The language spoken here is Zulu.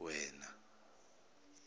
wena